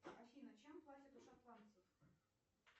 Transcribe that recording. афина чем платят у шотландцев